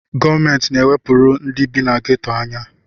Gọọmenti na-ewepụrụ ndị bi na geto anya.